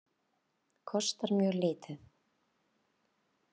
Kostar mjög lítið.